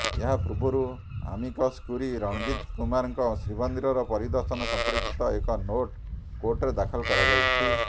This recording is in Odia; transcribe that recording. ଏହା ପୂର୍ବରୁ ଆମିକସ୍ କ୍ୟୁରି ରଣଜିତ କୁମାରଙ୍କ ଶ୍ରୀମନ୍ଦିର ପରିଦର୍ଶନ ସମ୍ପର୍କିତ ଏକ ନୋଟ୍ କୋର୍ଟରେ ଦାଖଲ କରାଯାଇଛି